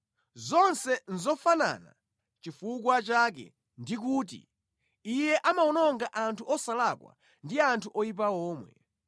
Zonse nʼzofanana; nʼchifukwa chake ndikuti, ‘Iye amawononga anthu osalakwa ndi anthu oyipa omwe.’